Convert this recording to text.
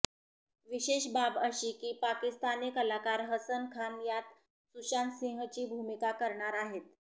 विशेष बाब अशी की पाकिस्तानी कलाकार हसन खान यात सुशांतसिंहची भूमिका करणार आहे